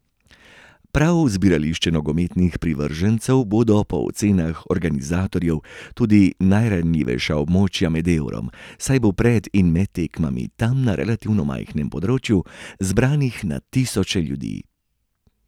Prav zbirališča nogometnih privržencev bodo po ocenah organizatorjev tudi najranljivejša območja med eurom, saj bo pred in med tekmami tam na relativno majhnem področju zbranih na tisoče ljudi.